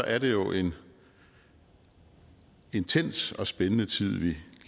er det jo en intens og spændende tid vi